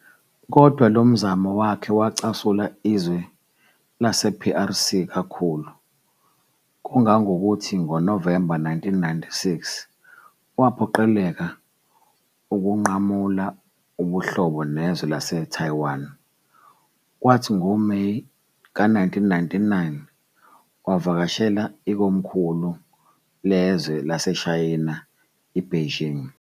Kodwa lomzamo wakhe, wacasula izwe lase- PRC, kakhulu, kangangokuthi, ngoNovemba 1996 waphoqeleka ukunqamula ubuhlobo nezwe lase-Taiwan, kwathi ngoMeyi ka 1999, wavakashela ikomkhulu lezwe laseShayina i-Beijing.